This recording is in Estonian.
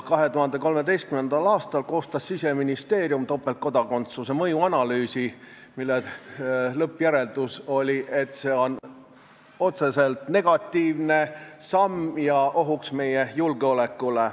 2013. aastal koostas Siseministeerium topeltkodakondsuse mõju analüüsi, mille lõppjäreldus oli, et see on otseselt negatiivne samm ja ohuks meie julgeolekule.